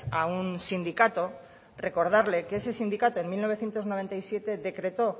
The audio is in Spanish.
a un sindicato recordarle que ese sindicato en mil novecientos noventa y siete decretó